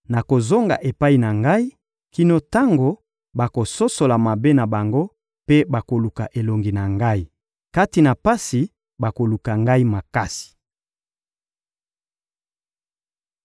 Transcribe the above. Nakozonga epai na Ngai kino tango bakososola mabe na bango mpe bakoluka elongi na Ngai; kati na pasi, bakoluka Ngai makasi.